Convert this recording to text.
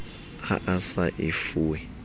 ha a sa e fuwe